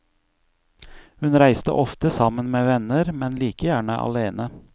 Hun reiste ofte sammen med venner, men like gjerne alene.